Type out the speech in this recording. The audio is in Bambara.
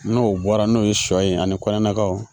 N'o bɔra n'o ye sɔ ye ani kɔɲɔ nakaw